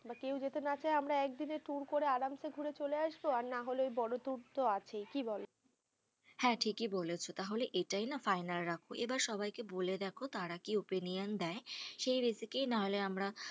কেউ যদি না যেতে চাই আমরা একদিনের tour করে আরাম সে ঘুরে চলে আসবো, নাহলে বড়ো tour তো আছেই, কি বোলো হ্যাঁ ঠিকই বলেছো, তাহলে এটাই না final রাখো, সবাই কে বলে দেখ, তারা কি opinion দেয় সেই রেসিকে কে আমরা।